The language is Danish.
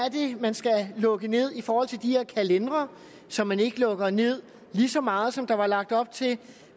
man skal lukke ned i forhold til de her kalendere så man ikke lukker ned lige så meget som der var lagt op til